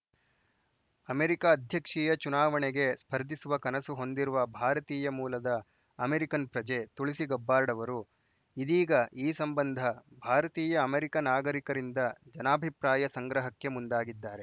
America ಅಧ್ಯಕ್ಷೀಯ ಚುನಾವಣೆಗೆ ಸ್ಪರ್ಧಿಸುವ ಕನಸು ಹೊಂದಿರುವ ಭಾರತೀಯ ಮೂಲದ ಅಮೆರಿಕನ್‌ ಪ್ರಜೆ ತುಳಸಿ ಗಬ್ಬಾರ್ಡ್‌ ಅವರು ಇದೀಗ ಈ ಸಂಬಂಧ ಭಾರತೀಯಅಮೆರಿಕ ನಾಗರಿಕರಿಂದ ಜನಾಭಿಪ್ರಾಯ ಸಂಗ್ರಹಕ್ಕೆ ಮುಂದಾಗಿದ್ದಾರೆ